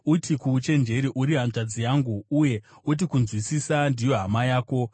Uti kuuchenjeri, “Uri hanzvadzi yangu,” uye uti kunzwisisa ndiyo hama yako;